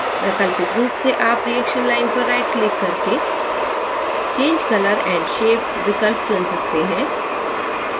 वैकल्पिक रूप से आप reaction line पर right click करके change color & shape विकल्प चुन सकते हैं